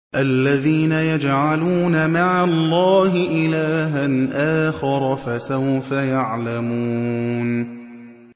الَّذِينَ يَجْعَلُونَ مَعَ اللَّهِ إِلَٰهًا آخَرَ ۚ فَسَوْفَ يَعْلَمُونَ